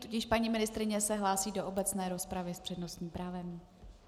Tudíž paní ministryně se hlásí do obecné rozpravy s přednostním právem.